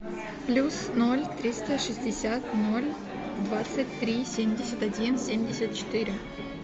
плюс ноль триста шестьдесят ноль двадцать три семьдесят один семьдесят четыре